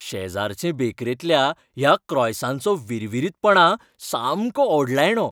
शेजारचे बेकरेंतल्या ह्या क्रॉयसांचो विरविरीतपणा सामको ओडलायणो.